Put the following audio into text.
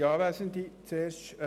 Kommissionspräsident der GSoK.